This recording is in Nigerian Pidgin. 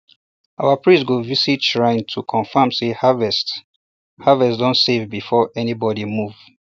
our priest go visit um shrine to confirm say harvest harvest um don um safe before anybody move